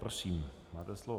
Prosím, máte slovo.